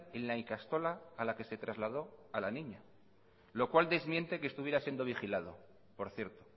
en la ikastola a la que se trasladó a la niña lo cual desmiente que estuviera siendo vigilado por cierto